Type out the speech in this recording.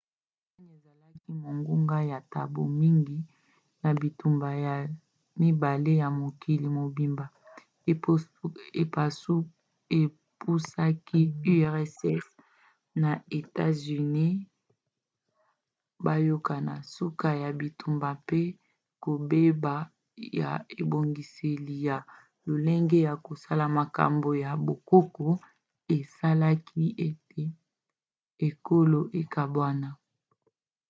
allemagne ezalaki monguna ya bato mingi na bitumba ya 2 ya mokili mobimba epusaki urss na etats-unis bayokana. suka ya bitumba mpe kobeba ya ebongiseli ya lolenge ya kosala makambo pe bokoko esalaki ete ekolo ekabwana